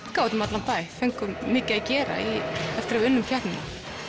út um allan bæ fengum mikið að gera eftir að við unnum keppnina